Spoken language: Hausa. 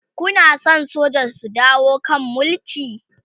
Kuna San soja su dawo kan Mulki?